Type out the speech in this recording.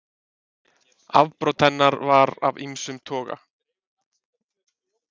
Afbrot hennar voru af ýmsum toga